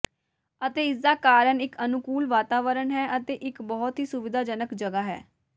ਅਤੇ ਇਸਦਾ ਕਾਰਨ ਇੱਕ ਅਨੁਕੂਲ ਵਾਤਾਵਰਣ ਹੈ ਅਤੇ ਇੱਕ ਬਹੁਤ ਹੀ ਸੁਵਿਧਾਜਨਕ ਜਗ੍ਹਾ ਹੈ